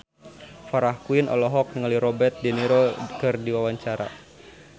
Farah Quinn olohok ningali Robert de Niro keur diwawancara